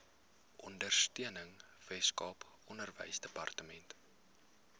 ondersteuning weskaap onderwysdepartement